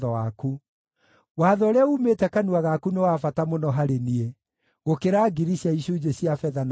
Watho ũrĩa uumĩte kanua gaku nĩ wa bata mũno harĩ niĩ, gũkĩra ngiri cia icunjĩ cia betha na thahabu.